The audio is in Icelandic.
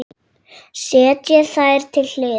Setjið þær til hliðar.